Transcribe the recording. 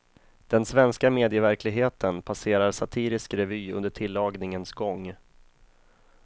Den svenska medieverkligheten passerar satirisk revy under tillagningens gång.